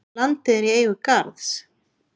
Landið er í eigu Garðs.